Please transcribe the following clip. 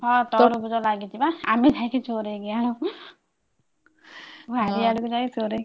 ହଁ ତରବୁଜ ଲାଗିଛି ବା ଆମେ smile ଯାଇକି ଚୋରେଇକି ଆଣୁ ଖାଇବୁ ଆଣିକି ଯାଇ ଚୋରେଇକି।